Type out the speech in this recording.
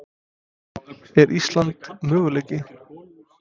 Er Ísland möguleiki?